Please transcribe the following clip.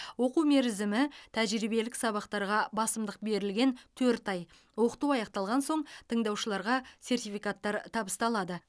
оқу мерзімі тәжірибелік сабақтарға басымдық берілген төрт ай оқыту аяқталған соң тыңдаушыларға сертификаттар табысталады